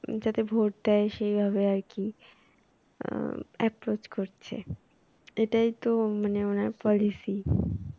যাতে ভোট দেয় সেভাবে আর কি অ্যাঁ approach করছে এটাই তো মানে উনার policy